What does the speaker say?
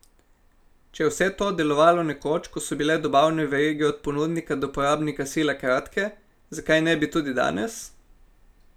Če je vse to delovalo nekoč, ko so bile dobavne verige od ponudnika do porabnika sila kratke, zakaj ne bi tudi danes?